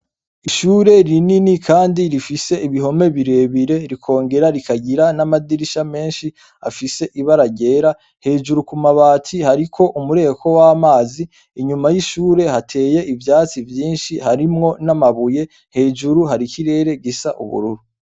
Ishure rinini kandi rifise ibihome bire bire rikongera rikagira n' amadirisha menshi afise ibara ryera hejuru ku mabati hariko umureko w' amazi inyuma y' ishure hateye ivyatsi vyinshi harimwo n' amabuye hejuru hari ikirere gisa ubururu.